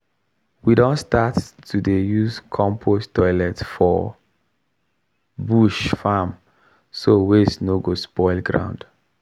we don start to use compost toilet for bush farm so waste no go spoil ground.